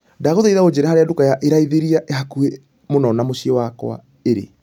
Ndagũthaitha ũnjĩĩre harĩa nduka ya raithĩĩria ĩhakuhi mũno na mũciĩ wakwa ĩrĩ.